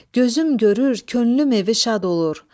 Gözüm görür, könlüm evi şad olur.